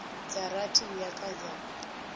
dza rathi uya kha dza